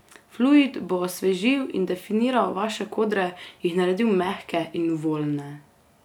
Fluid bo osvežil in definiral vaše kodre, jih naredil mehke in voljne.